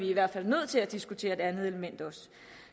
i hvert fald nødt til at diskutere det andet element også